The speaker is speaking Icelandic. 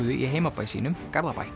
í heimabæ sínum Garðabæ